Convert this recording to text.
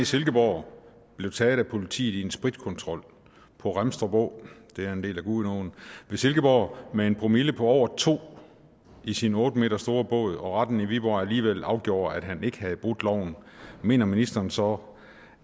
silkeborg blev taget af politiet i en spritkontrol på remstrup å det er en del af gudenåen ved silkeborg med en promille på over to i sin otte m store båd og retten i viborg alligevel afgjorde at han ikke havde brudt loven mener ministeren så